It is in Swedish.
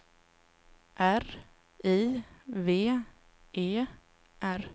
R I V E R